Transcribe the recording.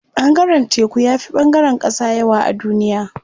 Ɓangaren teku yafi ɓangaren ƙasa yawa a duniya.